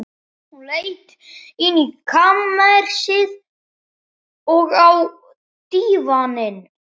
Hún leit inn í kamersið, og á dívaninn.